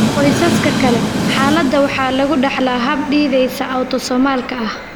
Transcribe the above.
Qoysaska kale, xaaladda waxaa lagu dhaxlaa hab dithesa autosomalka ah.